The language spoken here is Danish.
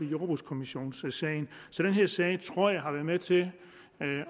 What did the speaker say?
i jordbrugskommissionssagen så jeg tror sag har været med til